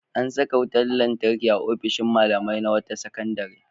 An saka wutar lantarki a ofishin malamai na wata sakandare.